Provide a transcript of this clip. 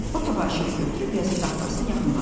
O təbaşiri götürüb yazı taxtasını yaxınlaşdı.